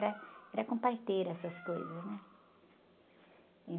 né? Era com parteira essas coisas, né?